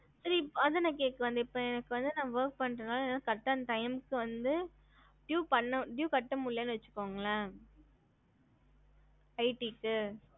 ஹம்